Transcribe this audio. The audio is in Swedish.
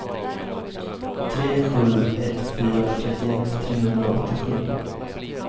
tre sju ett fyra trettioett trehundraåttiosju